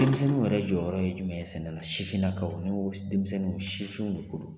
Denmisɛnninw yɛrɛ jɔyɔrɔ ye jumɛn ye sɛnɛ na ? Sifinnakaw ni n ko denmisɛnninw sifinw de ko don.